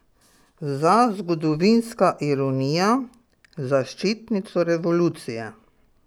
Za, zgodovinska ironija, zaščitnico revolucije.